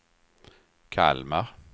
Kalmar